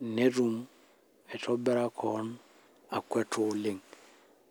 netum aitobira keon akwata oleng